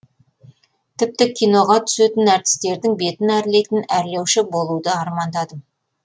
тіпті киноға түсетін әртістердің бетін әрлейтін әрлеуші болуды армандадым